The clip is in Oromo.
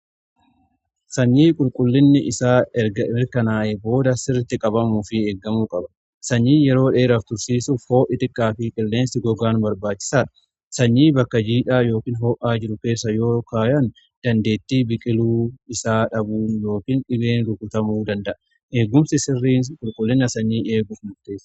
Sanyii qulqullinni isaa mirkanaa'e booda sirriitti qabamuu fi eeggamuu qaba sanyii yeroo dheeraaf tursiisuuf hoo'i xiqqaa fi qilleensi gogaan barbaachisaadha. Sanyii bakka jiidhaa yookiin hoo'aa jiru keessa yoo kaa'an dandeettii biqiluu isaa dhabuu yookin dhibeen rukutamuu danda'a. Eegumsi sirriin qulqullina sanyii eeguuf mutte.